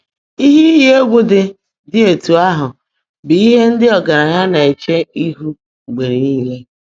Ihe iyi egwu dị dị etu ahụ bụ ihe ndị ọgaranya na-eche ihu mgbe niile.